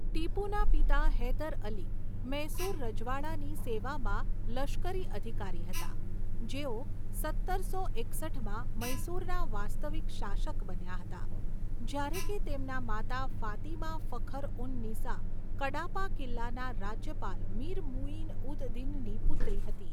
ટીપુના પિતા હૈદર અલી, મૈસૂર રજવાડાની સેવામાં લશ્કરી અધિકારી હતા, જેઓ સત્તરસો એકસઠમાં મૈસૂરના વાસ્તવિક શાસક બન્યા હતા, જ્યારે કે તેમનાં માતા ફાતિમા ફખર ઉન નિસા કડાપા કિલ્લાના રાજ્યપાલ મીર મુઇન ઉદ દિનની પુત્રી હતી.